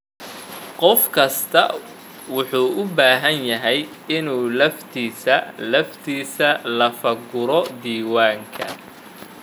Qof kastaa wuxuu u baahan yahay inuu laftiisa laftiisa lafaguro diiwaanka.